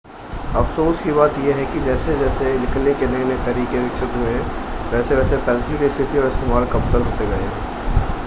अफ़सोस की बात यह है कि जैसे-जैसे लिखने के नए-नए तरीके विकसित हुए हैं वैसे-वैसे पेंसिल की स्थिति और इस्तेमाल कमतर होते गए हैं